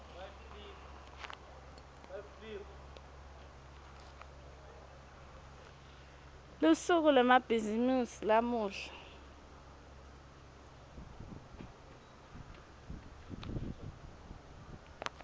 lusuku lwemabhizimisi lamuhla